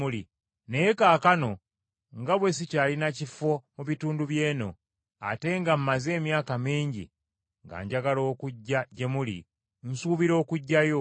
naye kaakano nga bwe sikyalina kifo mu bitundu by’eno, ate nga maze emyaka mingi nga njagala okujja gye muli, nsubira okujjayo,